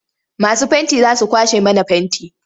Masu fenti za su kwashe mana fenti.